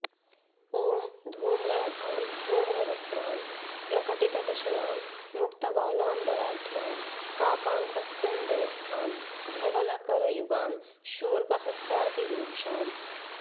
ॐ धूम्राभां धूम्रवस्त्रां प्रकटितदशनां मुक्तवालाम्बराढ्यां काकाङ्कस्यन्दनस्थां धवलकरयुगां शूर्पहस्तातिरूक्षाम्